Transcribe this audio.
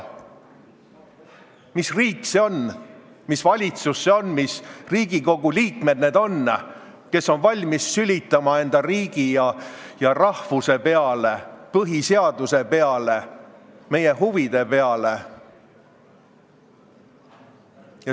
Mis riik see on, mis valitsus see on, mis Riigikogu liikmed need on, kes on valmis sülitama enda riigi ja rahvuse peale, põhiseaduse peale, meie huvide peale?